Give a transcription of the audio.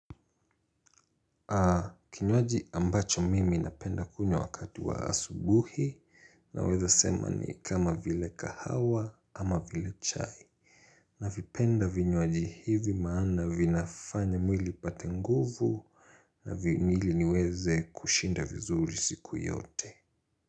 Kinywaji ambacho mimi napenda kunywa wakati wa asubuhi naweza sema ni kama vile kahawa ama vile chai. Navipenda vinywaji hivi maana vinafanya mwili ipate nguvu na vini ili niweze kushinda vizuri siku yote.